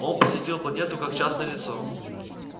он посетил планету как частное лицо